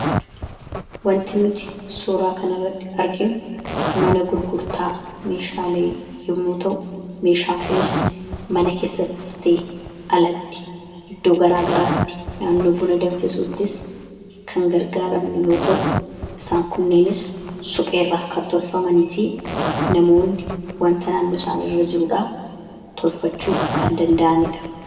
Wanti nuti suuraa kana irratti arginu mana gurgurtaa meeshaalee yommu ta'u meeshaan kunis mana keessattis ta'ee alatti iddoo garaa garaatti naannoo buna danfisuuttis kan gargaaraani yoo ta'u isaan kunneenis supheerraa kan tolfamanii fi namoonni wanta naannoo isaan irra jiruurraa tolfachuu kan danda'anidha.